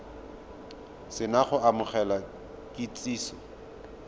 se na go amogela kitsiso